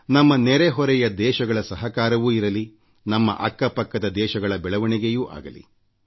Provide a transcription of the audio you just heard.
ನಮ್ಮ ನೆರೆ ಹೊರೆಯ ದೇಶಗಳ ಸಹಕಾರವೂ ಇರಲಿನಮ್ಮ ಅಕ್ಕ ಪಕ್ಕದ ದೇಶಗಳ ಬೆಳವಣಿಗೆಯೂ ಆಗಲಿ